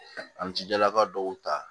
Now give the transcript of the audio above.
An jijala ka dɔw ta